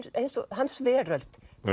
hans veröld